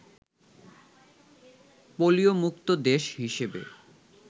polio মুক্ত দেশ হিসেবে